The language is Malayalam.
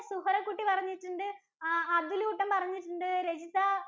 സുഹറ കുട്ടി പറഞ്ഞിട്ടുണ്ട്, ആഹ് അതുലൂട്ടന്‍ പറഞ്ഞിട്ടുണ്ട്, രജിത